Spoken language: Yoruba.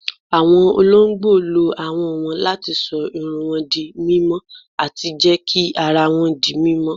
Awọn ọ̀lọ̀gbọ̀ ló áhọn wọn láti ṣọ̀ ìrùn wọn dí mímọ̀ ati jẹ́ kí àrà wọn dí mímọ̀.